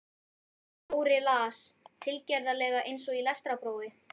Dóri las, tilgerðarlega eins og í lestrarprófi